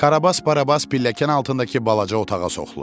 Karabas Barabas pilləkən altındakı balaca otağa soxulur.